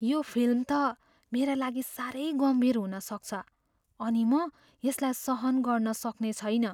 यो फिल्म त मेरा लागि साह्रै गम्भीर हुन सक्छ अनि म यसलाई सहन गर्न सक्ने छैन।